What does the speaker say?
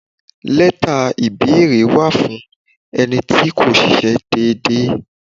Leta ìbéèrè wà fún ẹni tí kò ṣíṣe dédé.